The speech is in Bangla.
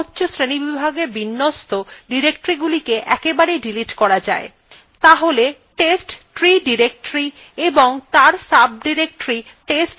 একসাথে অনেকগুলি directory be ক্রমচ্ছ শ্রেণীবিভাগে বিন্যস্ত directoryগুলিকে একবারেই ডিলিট করা যায় তাহলে testtree directory এবং তার sodirectory test3এই দুটিকে একসাথে ডিলিট করা যাক